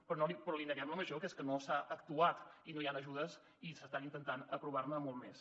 però li neguem la major que és que no s’ha actuat i no hi han ajudes i s’està intentant aprovar ne moltes més